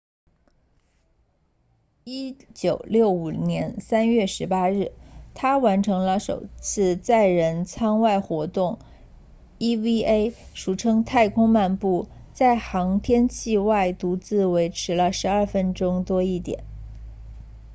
1965年3月18日他完成了首次载人舱外活动 eva 俗称太空漫步在航天器外独自维持了12分钟多一点